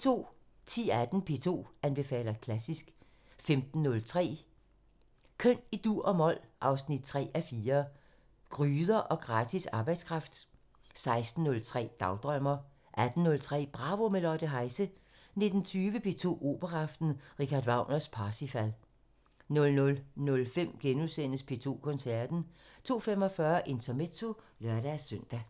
10:18: P2 anbefaler klassisk 15:03: Køn i dur og mol – 3:4 Gryder og gratis arbejdskraft 16:03: Dagdrømmer 18:03: Bravo – med Lotte Heise 19:20: P2 Operaaften – Richard Wagner: Parsifal 00:05: P2 Koncerten * 02:45: Intermezzo (lør-søn)